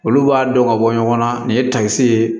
Olu b'a dɔn ka bɔ ɲɔgɔn na nin ye takisi ye